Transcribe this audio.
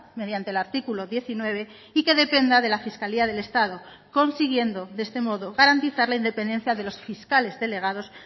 mediante el artículo diecinueve y que dependa de la fiscalía del estado consiguiendo de este modo garantizar la independencia de los fiscales delegados